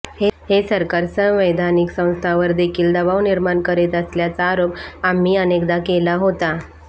हे सरकार संवैधानिक संस्थांवर देखील दबाव निर्माण करीत असल्याचा आरोप आम्ही अनेकदा केला होता